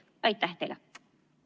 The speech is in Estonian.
Aitäh teile!